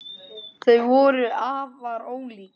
Þau voru afar ólík.